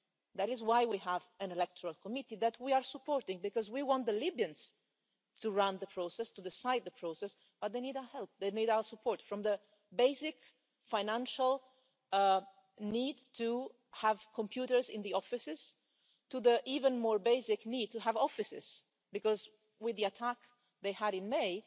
that is why we have an electoral committee that we are supporting, because we want the Libyans to run the process, to decide the process, but they need our help, they need our support, from the basic financial need to have computers in the offices to the even more basic need to have offices, because with the attack they had in May,